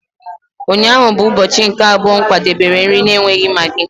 Ụnyaahụ bụ ụbọchị nke abụọ m kwadebere nri na-enweghị maggi.